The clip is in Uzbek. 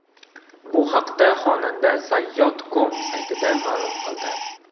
Bu haqda xonanda Sayyod.com saytiga ma’lum qildi .